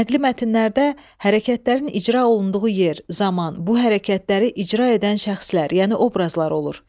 Nəqli mətnlərdə hərəkətlərin icra olunduğu yer, zaman, bu hərəkətləri icra edən şəxslər, yəni obrazlar olur.